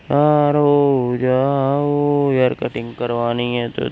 तैयार हो जाओ हेयर कटिंग करवानी है तो।